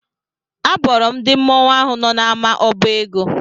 Abọrọ m ndị mmọnwụ ahụ nọ n'ama obo ego.